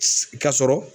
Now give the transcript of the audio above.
Ka sɔrɔ